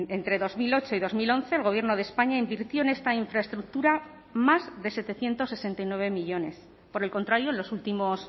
entre dos mil ocho y dos mil once el gobierno de españa invirtió en esta infraestructura más de setecientos sesenta y nueve millónes por el contrario en los últimos